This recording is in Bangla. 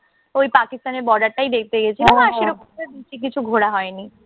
ওই পাকিস্তানের border টা্ই দেখতে গেছিলাম। আর সেই রকমভাবে কিছু ঘোরা হয়নি।